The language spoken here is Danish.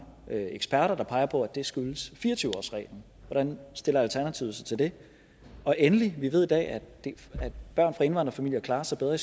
eksperter der peger på at det skyldes fire og tyve årsreglen hvordan stiller alternativet sig til det og endelig vi ved i dag at børn fra indvandrerfamilier klarer sig bedre